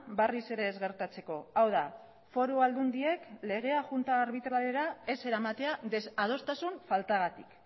berriz ere ez gertatzeko hau da foru aldundiek legea junta arbitralera ez eramatea desadostasun faltagatik